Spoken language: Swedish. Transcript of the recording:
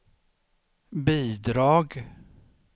bidrag